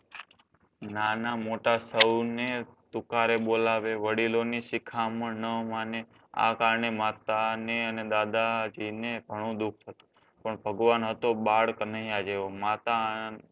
નાના મોટા સૌને તુકારે બોલાવે વડીલોની શિખામણ ન માને આ કારણે માતાને અને દાદાજીને ઘણું દુઃખ થતું પણ ભગવાન હતો બાળકનૈયા જેવો માતા